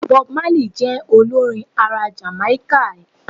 Bob Marley je olorin ara Jamáíkà